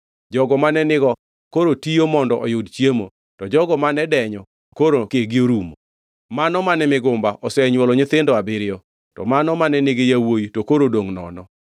Jogo mane nigo koro tiyo mondo oyud chiemo, to jogo mane denyo koro kegi orumo. Mano mane migumba osenywolo nyithindo abiriyo to mano mane nigi yawuowi to koro odongʼ nono.